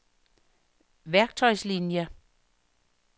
værktøjslinier